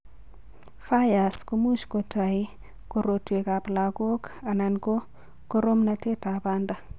FIRES ko much kotoi korotwekab lagok anan ko koromnatetab banda.